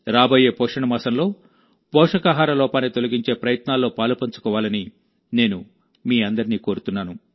రాబోయే పోషణ మాసంలో పోషకాహార లోపాన్ని తొలగించే ప్రయత్నాల్లో పాలుపంచుకోవాలని నేను మీ అందరినీ కోరుతున్నాను